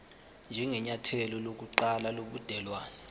njengenyathelo lokuqala lobudelwane